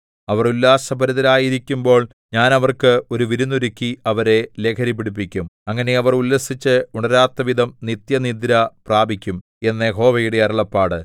അവർ ഉല്ലാസഭരിതരായിരിക്കുമ്പോൾ ഞാൻ അവർക്ക് ഒരു വിരുന്നൊരുക്കി അവരെ ലഹരി പിടിപ്പിക്കും അങ്ങനെ അവർ ഉല്ലസിച്ച് ഉണരാത്തവിധം നിത്യനിദ്ര പ്രാപിക്കും എന്ന് യഹോവയുടെ അരുളപ്പാട്